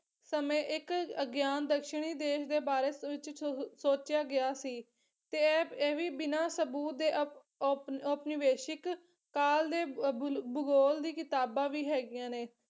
ਸਮੇਂ ਇੱਕ ਅਗਿਆਨ ਦਸ਼ਣੀ ਦੇਸ਼ ਦੇ ਬਾਰੇ ਸੁਚ ਸੋਚਿਆ ਗਿਆ ਸੀ ਤੇ ਐ ਇਹ ਵੀ ਬਿਨਾਂ ਸਬੂਤ ਦੇ ਓਪ ਓਪ ਓਪਨਿਵੇਸ਼ਿਕ ਕਾਲ ਦੇ ਬੁਲ ਭੂਗੋਲ ਦੀ ਕਿਤਾਬਾਂ ਵੀ ਹੈਗੀਆਂ ਨੇ